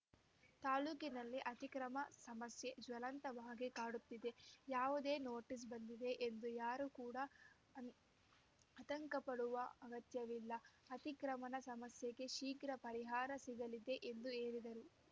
ತಾಲೂಕಿನಲ್ಲಿ ಅತಿಕ್ರಮಣ ಸಮಸ್ಯೆ ಜ್ವಲಂತವಾಗಿ ಕಾಡುತ್ತಿದೆ ಯಾವುದೇ ನೋಟಿಸ್ ಬಂದಿದೆ ಎಂದು ಯಾರು ಕೂಡ ಆತಂಕಪಡುವ ಅಗತ್ಯವಿಲ್ಲ ಅತಿಕ್ರಮಣ ಸಮಸ್ಯೆಗೆ ಶೀಗ್ರ ಪರಿಹಾರ ಸಿಗಲಿದೆ ಎಂದು ಹೇಳಿದರು